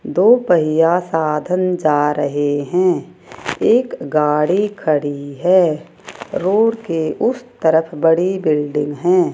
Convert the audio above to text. दो पहिया साधन जा रहे हैं एक गाड़ी खड़ी है रोड के उसे तरफ बड़ी बिल्डिंग हैं।